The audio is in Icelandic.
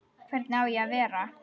Hvernig á ég að vera?